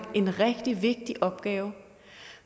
en rigtig vigtig opgave